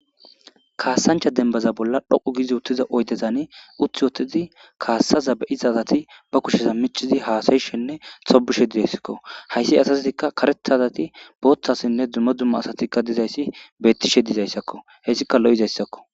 kaassancha dembaza bolla dhoqu giizi uttiza oydezani uthi wottidi kaassaza be7iza asati ba kushesa michizi haasayishenne sobishe dideyssakko hayssi asaztikka karethazati booththassinne dummo dumma asatikka dizayssi bettishe dizayssakko hessika lo7izayssakko